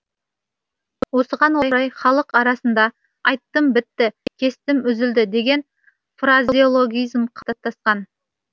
осыған орай халық арасында айттым бітті кестім үзілді деген фразеологизм қалыптасқан